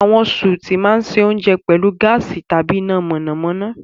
Àwọn sùùtù máa ń se oúnjẹ pẹ̀lú gáàsì tàbí iná mọ̀nàmọ́ná.